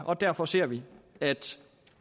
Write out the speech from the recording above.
og derfor ser vi at